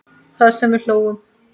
Það sem við hlógum.